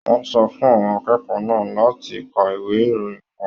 Wọn sọ fún àwọn akẹ́kọ̀ọ́ náà láti kà ìwé ìròyìn kàn.